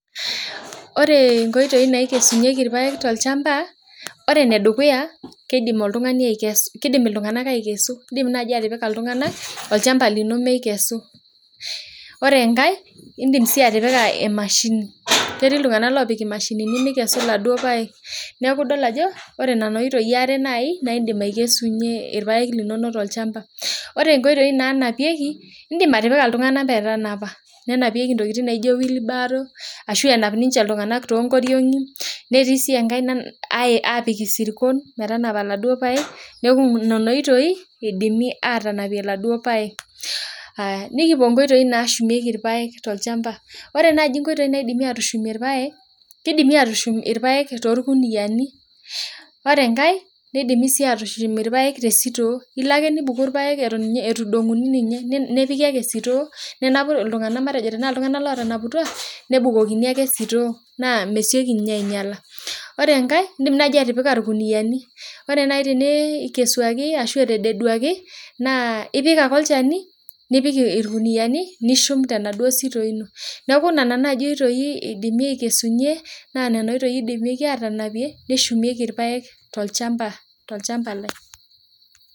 Ore nkoitoi naikesunyeki irpaek tolchambai na ore enedukuya na kidim ltunganak aikesu indim nai atipika ltunganak olchamba lino mikesu, ore si enkae indim atipika emashini ketii ltunganak opik emashini mikesu laduo paek neaku idol ajo ore nona oitoi na indim akesunye irpaek tolchamba ore enkoitoi nanapieki indim atipika ltunganak onapieki idim ninche atanapie wheelbarow ashu enapieki wheelbarrow ashubnkotiongi ashu sirkon anapie nikipuo nkoitoi nashumieki irpaek tolchamba kidimi atushumie irpaek torkuniani ore enkae kidimi atushumie irpaek tesitoo ilo ake nidumu irpaek atan midongo nepiki sitoo nebukokini sitoo na mesieki ainyala ore enkae na indim atipika irkuniani ipik ake olchani nidedie nipik irkuniani nishum tenaduo sitoo ino neaku nona nkoitoi naidimi atekesunye nidimie anapie neshumieki irpaek tolchamba lai